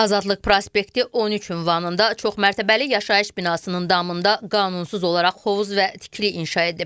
Azadlıq prospekti 13 ünvanında çoxmərətəbəli yaşayış binasının damında qanunsuz olaraq hovuz və tikili inşa edib.